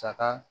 Saga